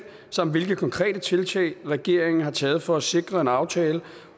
samt hvilke konkrete tiltag regeringen har taget for at sikre en aftale